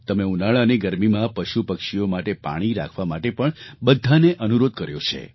તમે ઉનાળાની ગરમીમાં પશુપક્ષીઓ માટે પાણી રાખવા માટે પણ બધાને અનુરોધ કર્યો છે